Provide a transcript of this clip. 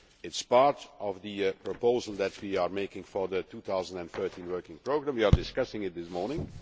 it is part of the proposal that we are making for the 2013 working programme and we are discussing it this morning.